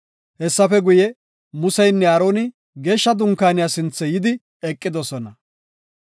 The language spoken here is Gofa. Hessafe guye, Museynne Aaroni geeshsha dunkaaniya sinthe yidi eqidosona.